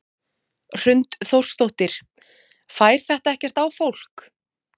Hrund Þórsdóttir: Fær þetta ekkert á fólk?